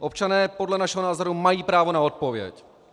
Občané podle našeho názoru mají právo na odpověď.